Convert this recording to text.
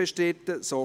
/ Abstentions